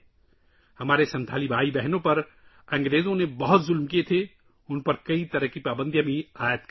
انگریزوں نے ہمارے سنتھالی بھائیوں اور بہنوں پر بہت مظالم ڈھائے تھے اور ان پر بہت سی پابندیاں بھی لگائی تھیں